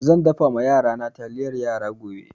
Zan dafa ma yarana taliyar yara gobe.